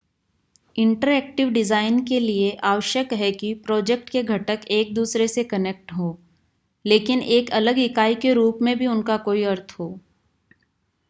interactive design के लिए आवश्यक है कि प्रोजेक्ट के घटक एक-दूसरे से कनेक्ट हों लेकिन एक अलग इकाई के रूप में भी उनका कोई अर्थ हो